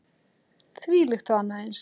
Þvílíkt og annað eins.